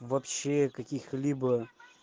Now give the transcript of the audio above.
вообще каких-либо